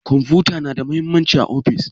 kwamfuta na da mahimmanci a ofis?